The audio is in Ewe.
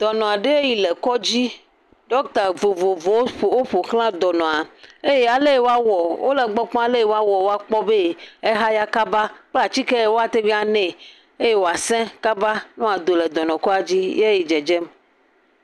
Dɔnɔ aɖe yi le kɔdzi ɖɔkita vovovowo ƒfo ofo xla dɔnɔa eye ale woawɔ wole gbɔ kpɔm aleyi woawɔ akpɔ be ehaya kaba kple atike yi woteŋ anɛ eye wòase kaba ado le dɔnɔa kɔdzi ye ya dzedzem